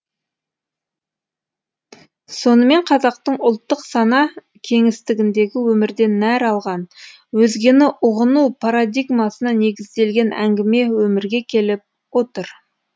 сонымен қазақтың ұлттық сана кеңістігіндегі өмірден нәр алған өзгені ұғыну парадигмасына негізделген әңгіме өмірге келіп отыр